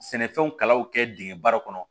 Sɛnɛfɛnw kalaw kɛ dingɛ baara kɔnɔ